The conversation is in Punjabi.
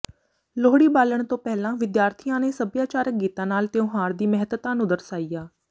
ਲੋਹੜੀ ਬਾਲਣ ਤੋਂ ਪਹਿਲਾਂ ਵਿਦਿਆਰਥੀਆਂ ਨੇ ਸੱਭਿਆਚਾਰਕ ਗੀਤਾਂ ਨਾਲ ਤਿਉਹਾਰ ਦੀ ਮਹੱਤਤਾ ਨੂੰ ਦਰਸਾਇਆ